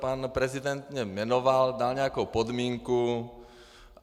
Pan prezident mě jmenoval, dal nějakou podmínku.